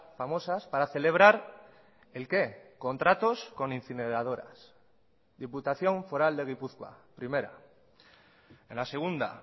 famosas para celebrar el qué contratos con incineradoras diputación foral de gipuzkoa primera en la segunda